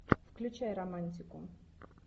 включай романтику